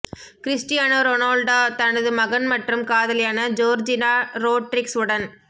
Cristiano Ronaldo தனது மகன் மற்றும் காதலியான ஜோர்ஜினா ரோட்ரிக்ஸ் உடன்